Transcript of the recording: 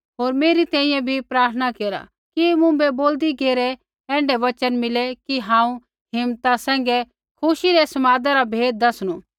होर मेरै तैंईंयैं भी प्रार्थना केरा कि मुँभै बोलदी घेरै ऐण्ढै वचन मिले कि हांऊँ हिम्मता सैंघै खुशी रै समादा रा भेद दसनू